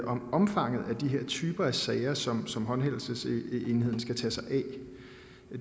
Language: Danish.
om omfanget af de typer af sager som som håndhævelsesenheden skal tage sig af